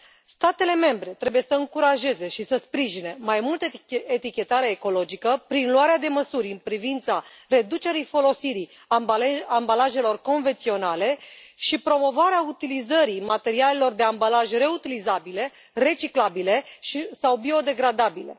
Statele membre trebuie să încurajeze și să sprijine mai mult etichetarea ecologică prin luarea de măsuri în privința reducerii folosirii ambalajelor convenționale și promovarea utilizării materialelor de ambalaje reutilizabile, reciclabile sau biodegradabile.